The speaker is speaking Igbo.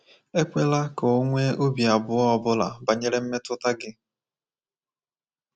Ekwela ka o nwee obi abụọ ọ bụla banyere mmetụta gị.